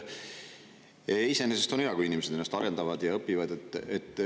Iseenesest on hea, kui inimesed õpivad ja ennast arendavad.